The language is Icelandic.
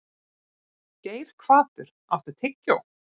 Geirhvatur, áttu tyggjó?